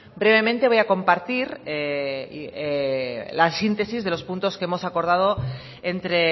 brevemente voy a compartir la síntesis de los puntos que hemos acordado entre